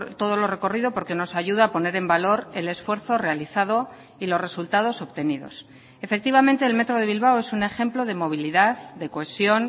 todo lo recorrido porque nos ayuda a poner en valor el esfuerzo realizado y los resultados obtenidos efectivamente el metro de bilbao es un ejemplo de movilidad de cohesión